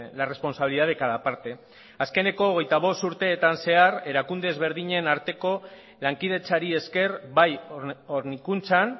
la responsabilidad de cada parte azkeneko hogeita bost urteetan zehar erakunde ezberdinen arteko lankidetzari ezker bai hornikuntzan